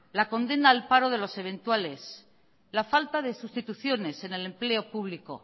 la condena al paro de los eventuales la falta de sustituciones en el empleo público